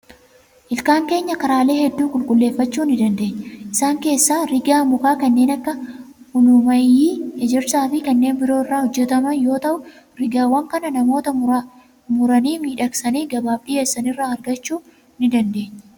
Ilkaan keenya karaalee hedduu qulqulleeffachuu ni dandeenya. Isaan keessaa rigaa muka kanneen akka ulumaayyii, ejersaa fi kanneen biroo irraa hojjetamiin yoo ta'u, rigaawwan kana namoota muranii miidhagsanii gabaaf dhiyeessan irraa argachuu ni dandeenya.